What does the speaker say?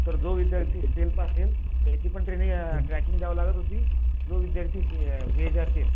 तर जो विद्यार्थी सेल्फ असेल त्याची पण ट्रेनिंग अ ट्रॅकिंग द्यावी लागायची जो विद्यार्थी असेल